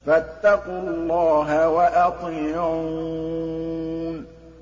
فَاتَّقُوا اللَّهَ وَأَطِيعُونِ